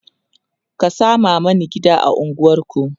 ka Sama Mani gida a unguwanku!